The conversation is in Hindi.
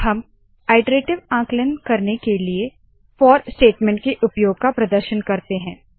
अब हम आइटरेटीव आंकलन करने के लिए फोर फॉर स्टेटमेंट के उपयोग का प्रदर्शन करते है